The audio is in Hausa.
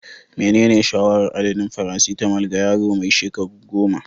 Menene shawarar adadin "paracetamol" ga yaro mai shekaru 10?